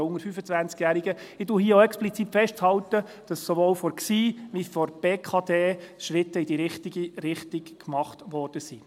Ich halte hier auch explizit fest, dass sowohl von der GSI wie von der BKD Schritte in die richtige Richtung gemacht wurden.